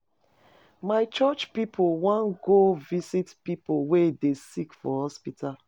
My church pipo wan go visit pipo wey dey sick for hospital.